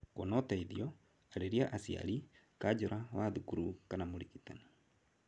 Kũona ũteithio, arĩria aciari, kanjura wa thukuru kana mũrigitani.